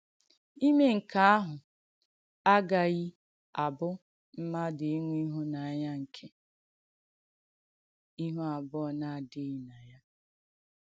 Ìmè nke àhụ̄ agàghì abụ̀ mmadù ìnwè ìhùnànyà nke “ihú àbùọ̀ na-adị̀ghì n’̀ya.”